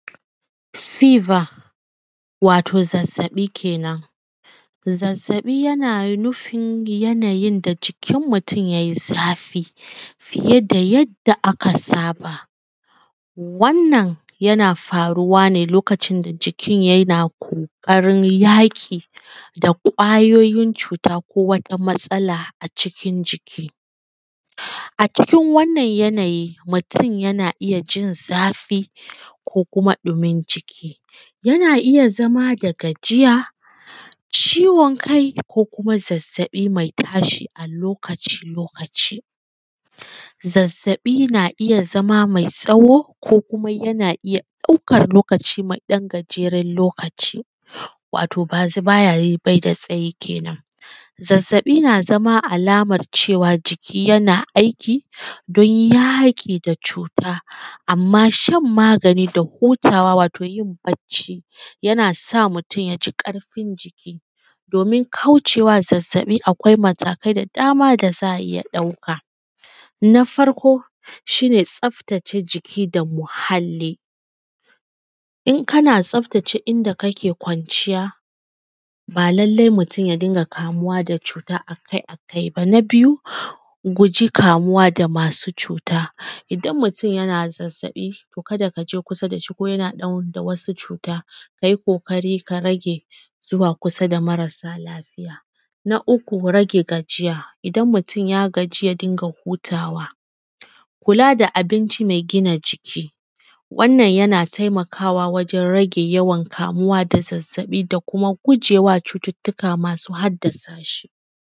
Fever, wato zazzabi kenan zazzabi yana nufin yanayin da jikin mutun yai zafi fiye da yadda aka saba, wannan yana faruwa ne lokacin da jikin yana ƙoƙarin yaƙi da kwayoyin cuta ko wata matsala a cikin jiki a cikin wannan yanayi mutun yana iya jin zafi ko kuma dumin jiki, yana iya zama da gajiya, ciwon kai ko kuma zazzabi mai tashi lokaci-lokaci. Zazzabi yana iya zama mai tsawo ko kuma yana iya ɗaukar lokaci mai ɗan gajeren lokaci wato bai da tsaye, kenan zazzabi yana iya zamowa alamar cewa jiki na aiki don yaƙi da cuta, amma shan magani da hutawa wato yin bacci yana sa mutun ya ji ƙarfin jiki domi kauce wa zazzzabi, akwai matakai da dama da za a iya ɗauka, na farko shi ne tsaftace jiki da muhalli in kana tsaftace inda kake kwanciya ba lallai mutun ya kamu da cuta a kai-akai ba. Na biyu guji kamuwa da masu cutan idan mutun yana zazzabi to ka da ka je kusa da shi ko yana ɗauke da wasu cuta, ka yi ƙoƙari ka rage zuwa kusa da mara sa lafiya, na uku rage gajiya idan mutun ya gaji ya dinga hutawa kula da abinci mai gina jiki, yana taimakawa wajen rage yawan kamuwa da zazzabi da kuma guje wa cututtuka masu haddasa shi.